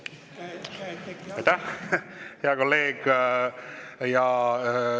Aitäh, hea kolleeg!